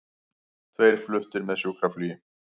Tveir fluttir með sjúkraflugi